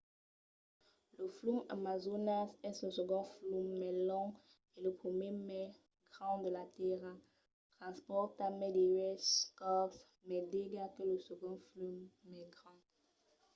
lo flum amazonas es lo segond flum mai long e lo primièr mai grand de la tèrra. transpòrta mai de uèch còps mai d'aiga que lo segond flum mai grand